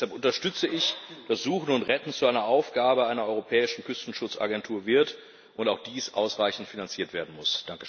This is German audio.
Deshalb unterstütze ich, dass Suchen und Retten zu einer Aufgabe einer europäischen Küstenschutzagentur wird und auch dies ausreichend finanziert werden muss.